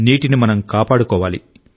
నీటిని మనం కాపాడుకోవాలి